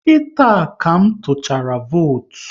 Kita ka m tuchara votu